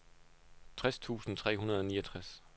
tres tusind tre hundrede og niogtres